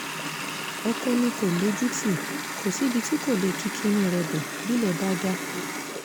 ọkọ mi kò lójútì kò síbi tí kò lè ki kinní rẹ̀ bọ bílẹ̀ bá dà